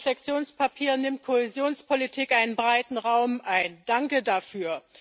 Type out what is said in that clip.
In Ihrem Reflexionspapier nimmt Kohäsionspolitik einen breiten Raum ein danke dafür.